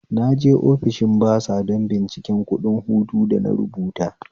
Naje ofishin basa don bincikan kuɗin hutu da na rubuta